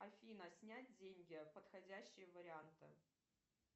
афина снять деньги подходящие варианты